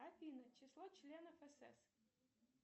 афина число членов сс